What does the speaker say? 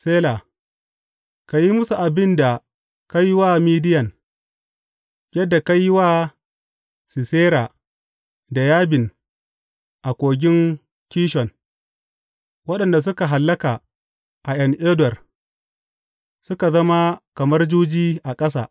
Sela Ka yi musu abin da ka yi wa Midiyan, yadda ka yi wa Sisera da Yabin a kogin Kishon, waɗanda suka hallaka a En Dor suka zama kamar juji a ƙasa.